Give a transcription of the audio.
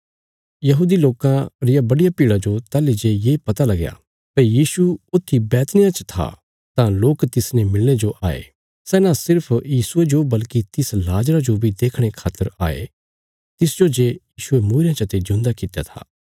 यहूदी लोकां री इक बड्डी भीड़ा जो ताहली जे ये पता लगया भई यीशु ऊत्थी बैतनिय्याह च था तां लोक तिसने मिलणे जो आए सै न सिर्फ यीशुये जो बल्कि तिस लाजरा जो बी देखणे खातर आए थे तिस्सो जे यीशुये मूईरयां चते जिऊंदा कित्या था